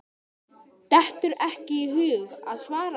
Dettur ekki í hug að svara.